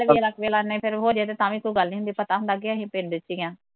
ਨਾਲੇ ਜ਼ਰਾ ਕੁ ਜਲਾਣੇ ਵੀ ਫਿਰ ਹੋਜੇ ਤੇ ਤਾਂਵੀ ਕੋਈ ਗੱਲ ਨੀ ਹੁੰਦੀ, ਪਤਾ ਹੁੰਦਾ ਕੀ ਅਸੀਂ ਪਿੰਡ ਚ ਈ ਆ